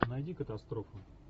найди катастрофу